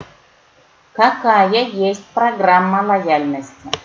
какая есть программа лояльности